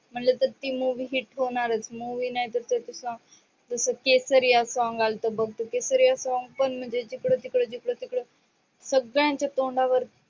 मनल तर ती movie hit होणारस movie म्हणलं नाहीतर तसे केसरीया song आलत बघ केसरिया song पण म्हणजे जिकड तिकड, जिकड तिकड झालत सगळ्यांच्या तोंडावर